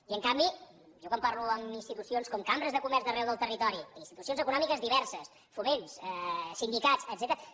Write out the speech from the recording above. i en canvi jo quan parlo amb institucions com cambres de comerç d’arreu del territori i institucions econòmiques diverses foments sindicats etcètera